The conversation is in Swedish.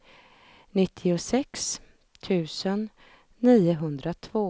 trettioåtta tusen sjuhundranittiotre